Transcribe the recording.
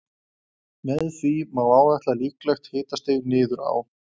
Með því má áætla líklegt hitastig niður á